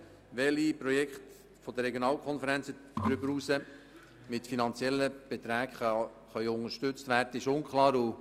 Welche Projekte der Regionalkonferenzen darüber hinaus mit finanziellen Beträgen unterstützt werden können, ist unklar.